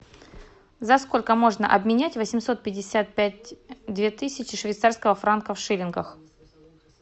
за сколько можно обменять восемьсот пятьдесят пять две тысячи швейцарского франка в шиллингах